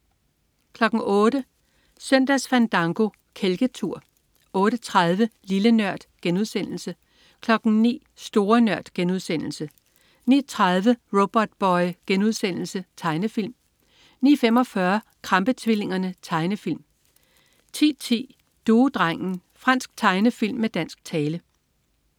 08.00 Søndagsfandango. Kælketur 08.30 Lille Nørd* 09.00 Store Nørd* 09.30 Robotboy.* Tegnefilm 09.45 Krampe-tvillingerne. Tegnefilm 10.10 Duedrengen. Fransk tegnefilm med dansk tale